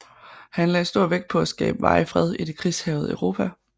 Han lagde stor vægt på at skabe varig fred i det krigshærgede Europa